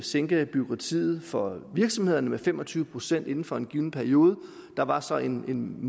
sænke bureaukratiet for virksomhederne med fem og tyve procent inden for en given periode der var så en måling